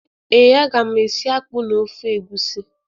Ee, aga m esi akpụ na ofe egwusi